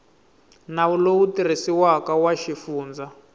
nawu lowu tirhisiwaka wa xifundza